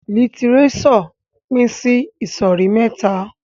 Lítírésò pin sí ìsòrí mẹ́ta